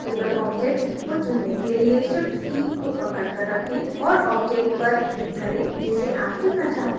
multiple objects को चुनने के लिए shift key को पकड कर रखें और objects पर click करें जिसे आप चुनना चाहते हैं